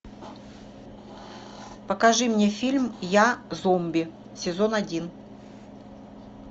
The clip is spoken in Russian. покажи мне фильм я зомби сезон один